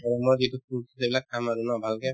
গৰমৰ যিটো fruit সেইবিলাক খাম আৰু ন ভালকে